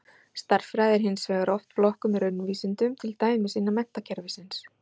Stærðfræði er hins vegar oft flokkuð með raunvísindum, til dæmis innan menntakerfisins.